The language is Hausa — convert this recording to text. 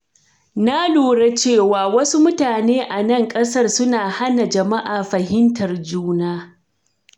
Na lura cewa wasu mutane a nan ƙasar suna hana jama'a fahimtar juna.